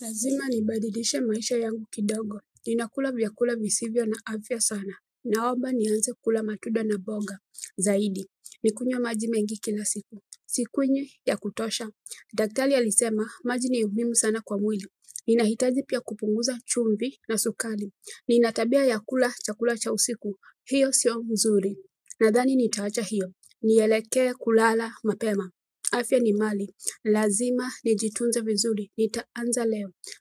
Lazima nibadilishe maisha yangu kidogo. Ninakula vyakula visivyo na afya sana. Naomba nianze kula matunda na boga zaidi. Nikunywe maji mengi kila siku. Sikunywi ya kutosha. Daktali alisema, maji ni muhimu sana kwa mwili. Ninahitaji pia kupunguza chumbi na sukali. Nina tabia ya kula chakula cha usiku. Hiyo sio mzuri. Nadhani nitawacha hiyo. Nielekee kulala mapema. Afya ni mali. Lazima nijitunze vizuri. Nitaanza,